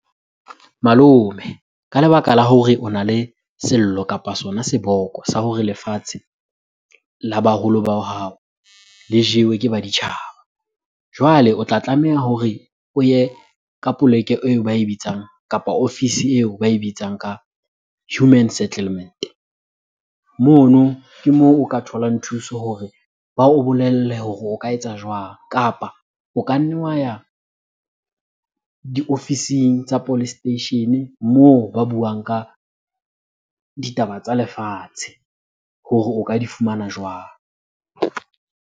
Malome ka lebaka la hore ona le sello kapa sona seboko sa hore lefatshe la baholo ba hao le jewe ke baditjhaba. Jwale o tla tlameha hore o ye ka poleke eo ba e bitsang kapa ofisi eo ba e bitsang ka human settlement. Mono ke moo o ka tholang thuso hore ba o bolelle hore o ka etsa jwang? Kapa o ka nna wa ya diofising tsa police station-e moo ba buang ka ditaba tsa lefatshe hore o ka di fumana jwang?